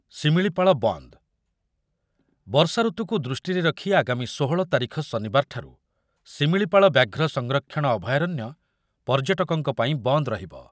ଶିମିଳିପାଳ ବନ୍ଦ, ବର୍ଷାଋତୁକୁ ଦୃଷ୍ଟିରେ ରଖି ଆଗାମୀ ଷୋହଳ ତାରିଖ ଶନିବାରଠାରୁ ଶିମିଳିପାଳ ବ୍ୟାଘ୍ର ସଂରକ୍ଷଣ ଅଭୟାରଣ୍ୟ ପର୍ଯ୍ୟଟକଙ୍କ ପାଇଁ ବନ୍ଦ ରହିବ।